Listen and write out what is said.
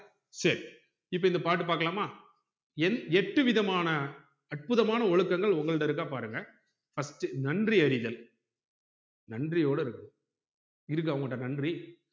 சரி இப்ப இந்த பாட்டு பாக்கலாமா எட்டு விதமான அற்புதமான ஒழுக்கங்கள் உங்க கிட்ட இருக்கா பாருங்க first நன்றி அறிதல் நன்றியோட இருக்கணும் இருக்கா உங்க கிட்ட நன்றி